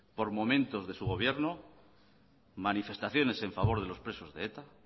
por momentos de su gobierno manifestaciones en favor de los presos de eta